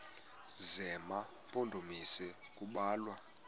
zema mpondomise kubalwa